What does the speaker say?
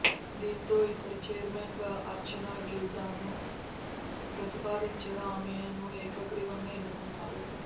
దీంతో ఇక్కడ చైర్మెన్గా అర్చనా గిల్దాను ప్రతిపాదించగా ఆమెను ఏకగ్రీవంగా ఎన్నుకున్నారు